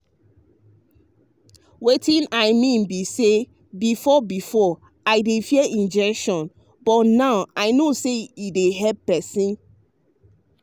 wetin i mean be say before before i dey fear injection but now i know say e dey help person.